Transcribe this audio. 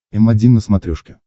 м один на смотрешке